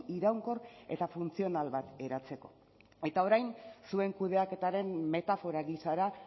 iraunkor eta funtzional bat eratzeko eta orain zuen kudeaketaren metafora gisara